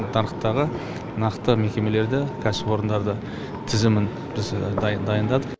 нарықтағы нақты мекемелерді кәсіпорындарды тізімін біз дайындадық